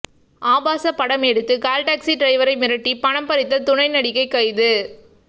ஆபாச படம் எடுத்து கால்டாக்ஸி டிரைவரை மிரட்டி பணம் பறித்த துணை நடிகை கைது